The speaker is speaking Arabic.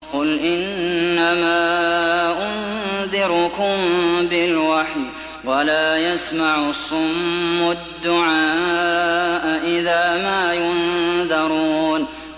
قُلْ إِنَّمَا أُنذِرُكُم بِالْوَحْيِ ۚ وَلَا يَسْمَعُ الصُّمُّ الدُّعَاءَ إِذَا مَا يُنذَرُونَ